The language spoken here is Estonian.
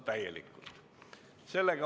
Muid ettepanekuid ei ole.